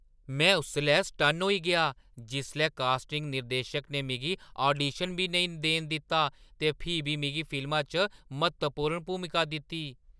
में उसलै सटन्न होई गेआ जिसलै कास्टिंग निर्देशक ने मिगी आडीशन बी नेईं देन दित्ता ते फ्ही बी मिगी फिल्मा च म्हत्तवपूर्ण भूमिका दित्ती।